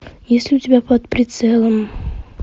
есть ли у тебя под прицелом